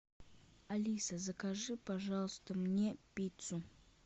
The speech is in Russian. алиса закажи пожалуйста мне пиццу